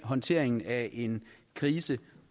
håndteringen af en krise